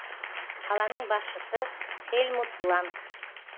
қаланың басшысы хельмут бланк